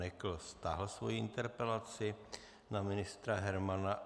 Nekl stáhl svoji interpelaci na ministra Hermana.